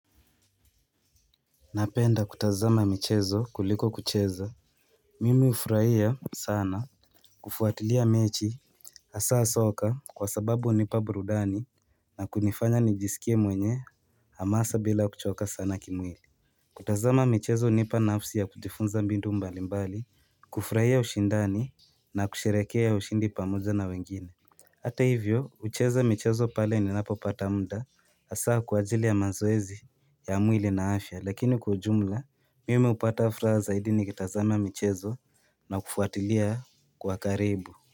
Napenda kutazama michezo kuliko kucheza Mimi hufurahia sana kufuatilia mechi Hasaa soka kwa sababu hunipa burudani na kunifanya nijisikie mwenye hamasa bila kuchoka sana kimwili kutazama michezo unipa nafsi ya kujifunza mbindu mbali mbali kufurahia ushindani na kusherehekea ushindi pamoja na wengine Hata hivyo ucheza michezo pale ni napo pata muda hasaa kwa ajili ya mazoezi ya mwili na afya lakini kwa ujumla mimi upata furaha zaidi ni kitazama michezo na kufuatilia kwa karibu.